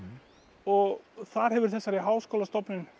og þar hefur þessari háskólastofnun